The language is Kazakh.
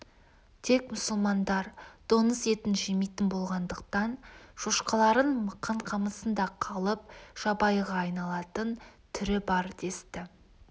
тек мұсылмандар доңыз етін жемейтін болғандықтан шошқаларың мықан қамысында қалып жабайыға айналатын түрі бар десті